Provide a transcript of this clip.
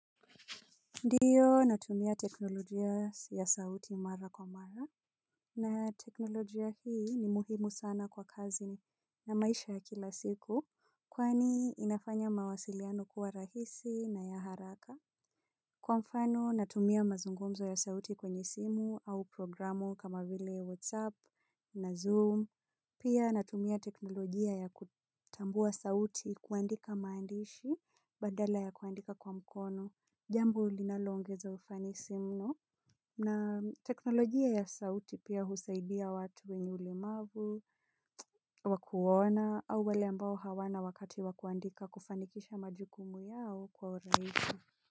Ndio natumia teknolojia ya sauti mara kwa mara. Na teknolojia hii ni muhimu sana kwa kazi na maisha ya kila siku. Kwani inafanya mawasiliano kuwa rahisi na ya haraka. Kwa mfano natumia mazungumzo ya sauti kwenye simu au programu kama vile WhatsApp na Zoom. Pia natumia teknolojia ya kutambua sauti kuandika maandishi badala ya kuandika kwa mkono. Jambo linalongeza ufanisi mno na teknolojia ya sauti pia husaidia watu wenye ulemavu, wa kuona au wale ambao hawana wakati wakuandika kufanikisha majukumu yao kwa urahisi.